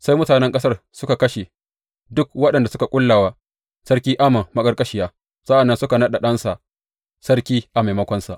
Sai mutanen ƙasar suka kashe duk waɗanda suka ƙulla wa Sarki Amon maƙarƙashiya, sa’an nan suka naɗa ɗansa sarki a maimakonsa.